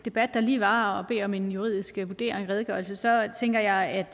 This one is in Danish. debat der lige var om en juridisk vurdering og redegørelse tænker jeg at